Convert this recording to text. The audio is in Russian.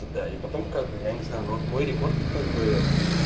и тогда и потом как бы я не знаю вот мой рекорд как бы